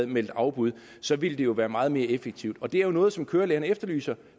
meldt afbud så ville det jo være meget mere effektivt og det er jo noget som kørelærerne efterlyser